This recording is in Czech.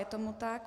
Je tomu tak.